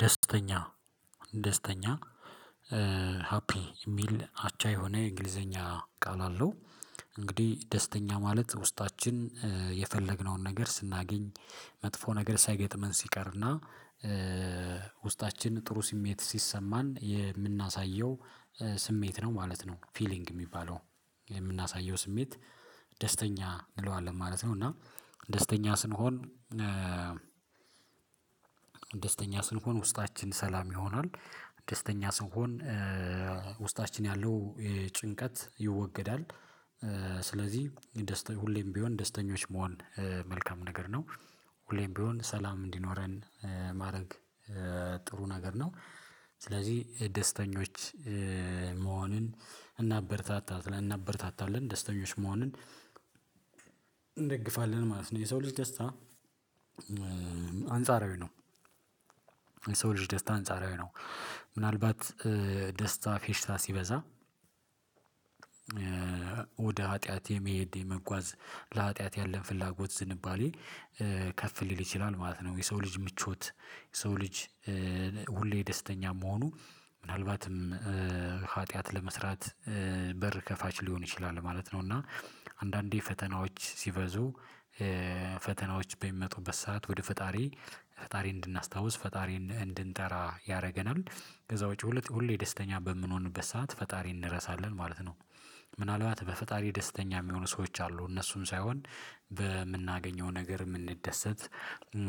ደስተኛ ደስተኛ ሀፒ የሚል አቻ የሆነ የእንግሊዘኛ ቃል አለው። እንግዲህ ደስተኛ ማለት ውስጣችን የፈለግነውን ነገር ስናገኝ መጥፎ ነገር ሳይገጥመን ሲቀርና ውስጣችን ጥሩ ስሜት ሲሰማን የምናሳየው ስሜት ነው ማለት ነው ፊሊንግ የሚባለው የምናሳየው ስሜት ደስተኛ እንለዋለን ማለት ነው። እና ደስተኛ ስንሆን ደስተኛ ስንሆን ውስጣችን ሰላም ይሆናል፣ ደስተኛ ስንሆን ውስጣችን ያለው ጭንቀት ይወገዳል፣ ስለዚህ ደስተኛ ሁሌም ቢሆን ደስተኞች መሆን መልካም ነገር ነው፣ ሁሌም ቢሆን ሰላም እንዲኖረን ማድረግ ጥሩ ነገር ነው። ደስተኞች መሆንን እናበረታታለን እናበርታታለን ደስተኞች መሆንን እንደግፋለን ማለት ነው። የሰው ልጅ ደስታ አንጻራዊ ነው። የሰው ልጅ ደስታ አንጻራዊ ነው ምናልባት ደስታ ፌሽታ ሲበዛ ወደ ሀጥያት የመሄድ የመጓዝ ለሀጥያት ያለን ፍላጎት ዝንባሌ ከፍ ሊል ይችላል ማለት ነው። የሰው ልጅ ምቾት፣ የሰው ልጅ ሁሌ ደስተኛ መሆኑ ምናልባትም ኃጢአት ለመስራት በር ከፋች ሊሆን ይችላል ማለት ነው። እና አንዳንዴ ፈተናዎች ሲበዙ ፈተናዎች በሚመጡበት ሰዓት ወደ ፈጣሪ ፈጣሪን እንድናስታውስ፣ ፈጣሪን እንድንጠራ ያደርገናል ከዛ ውጪ ሁለት ሁሌ ደስተኛ በምንሆንበት ሰዓት ፈጣሪን እንረሳለን ማለት ነው። ምናልባት በፈጣሪ ደስተኛ የሚሆኑ ሰዎች አሉ እነሱን ሳይሆን በምናገኘው ነገር የምንደሰት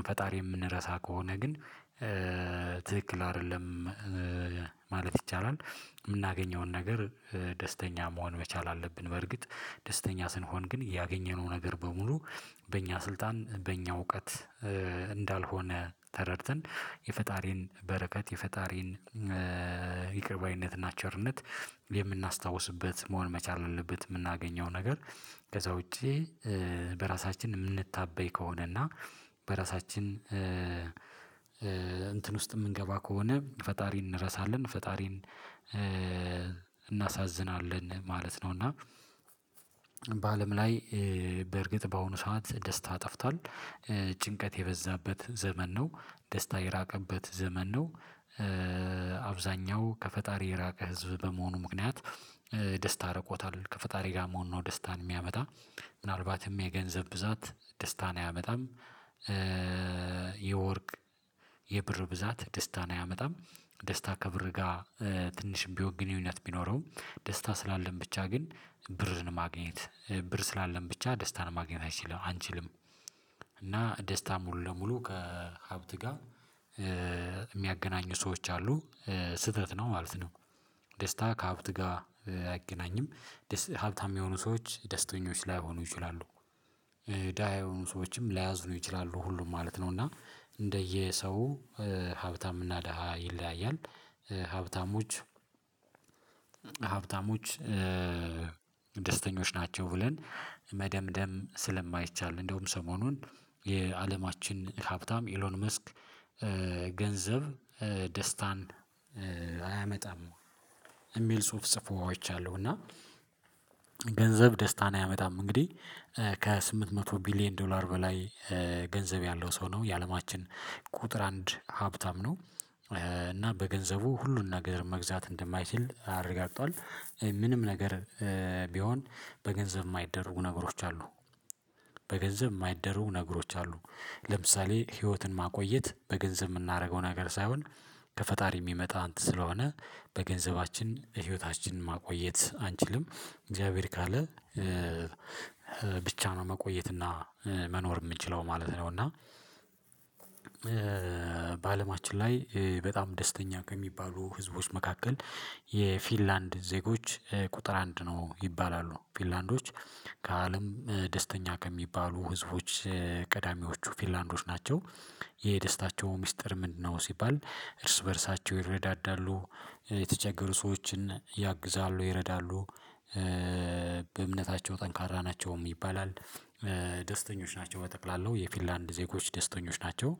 ፈጣሪን የምንረሳ ከሆነ ግን ትክክል አይደለም ማለት ይቻላል። የምናገኘውን ነገር ደስተኛ መሆን መቻል አለብን በርግጥ ደስተኛ ስንሆን ግን ያገኘነው ነገር በሙሉ በእኛ ስልጣን፣ በእኛ እውቀት እንዳልሆነ ተረድተን የፈጣሪን በረከት፣ የፈጣሪን ይቅር ባይነትና ቸርነት የምናስታውስበት መሆን መቻል አለበት። የምናገኘው ነገር ከዛ ውጪ በራሳችን የምንታበይ ከሆነ እና በራሳችን እንትን ውስጥ የምንገባ ከሆነ ፈጣሪን እንረሳለን፣ ፈጣሪን እናሳዝናለን ማለት ነው እና በአለም ላይ በእርግጥ በአሁኑ ሰዓት ደስታ ጠፍቷል። ጭንቀት የበዛበት ዘመን ነው፣ ደስታ የራቀበት ዘመን ነው፣ አብዛኛው ከፈጣሪ የራቀ ህዝብ በመሆኑ ምክንያት ደስታ ረቆታል ከፈጣሪ ጋር መሆን ነው ደስታን የሚያመጣ፣ ምናልባትም የገንዘብ ብዛት ደስታን አያመጣም፣ የወርቅ የብር ብዛት ደስታን አያመጣም፣ ደስታ ከብር ጋር ትንሽ ቢ ግንኙነት ቢኖረው ደስታ ስላለን ብቻ ግን ብርን ማግኘት ብር ስላለን ብቻ ደስታን ማግኘት አይችልም አንችልም እና ደስታ ሙሉ ለሙሉ ከሀብት ጋር የሚያገናኙ ሰዎች አሉ፣ ስህተት ነው ማለት ነው። ደስታ ከሀብት ጋር አይገናኝም፣ ሀብታም የሚሆኑ ሰዎች ደስተኞች ላይሆኑ ይችላሉ፣ ደሃ የሆኑ ሰዎችም ላያዝኑ ይችላሉ ሁሉም ማለት ነው እና እንደየሰው ሀብታም እና ደሃ ይለያያል። ሀብታሞች ሀብታሞች ደስተኞች ናቸው ብለን መደምደም ስለማይቻል እንደውም ሰሞኑን የአለማችን ሀብታም ኢሎን መስክ ገንዘብ ደስታን አያመጣም የሚል ጽሁፍ ጽፎ አይቻለሁ እና ገንዘብ ደስታን አያመጣም እንግዲህ ከስምንት መቶ ቢሊየን ዶላር በላይ ገንዘብ ያለው ሰው ነው የአለማችን ቁጥር አንድ ሀብታም ነው እና በገንዘቡ ሁሉን ነገር መግዛት እንደማይችል አረጋግጧል። ምንም ነገር ቢሆን በገንዘብ የማይደርቡ ነገሮች አሉ። በገንዘብ የማይደረጉ ነገሮች አሉ ለምሳሌ ህይወትን ማቆየት በገንዘብ የምናደርገው ነገር ሳይሆን ከፈጣሪ የሚመጣ እንትን ስለሆነ በገንዘባችን ህይወታችንን ማቆየት አንችልም እግዚአብሔር ካለ ብቻ ነው መቆየት እና መኖር የምንችለው ማለት ነው እና በአለማችን ላይ በጣም ደስተኛ ከሚባሉ ህዝቦች መካከል የፊንላንድ ዜጎች ቁጥር አንድ ነው ይባላሉ። ፊንላንዶች ከአለም ደስተኛ ከሚባሉ ህዝቦች ቀዳሚዎቹ ፊንላንዶች ናቸው። የደስታቸው ሚስጥር ምንድነው ሲባል እርስ በእርሳቸው ይረዳዳሉ፣ የተቸገሩ ሰዎችን ያግዛሉ፣ ይረዳሉ፣ በእምነታቸው ጠንካራ ናቸውም ይባላል፣ ደስተኞች ናቸው በጠቅላላው የፊንላንድ ዜጎች ደስተኞች ናቸው፣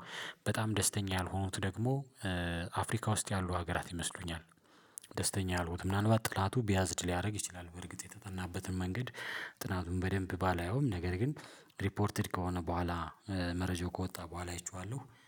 በጣም ደስተኛ ያልሆኑት ደግሞ አፍሪካ ውስጥ ያሉ ሀገራት ይመስሉኛል። ደስተኛ ያልሆኑት ምናልባት ጥናቱ ቢያዝድ ሊያደርግ ይችላል በእርግጥ የተጠናበትም መንገድ ጥናቱን በደንብ ባላየውም ነገር ግን ሪፖርትድ ከሆነ በኋላ መረጃው ከወጣ በኋላ አይቼዋለሁ።